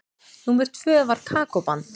Númer tvö var Kókó-band.